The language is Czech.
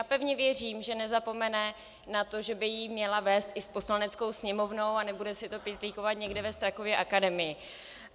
A pevně věřím, že nezapomene na to, že by ji měla vést i s Poslaneckou sněmovnou, a nebude si to pytlíkovat někde ve Strakově akademii.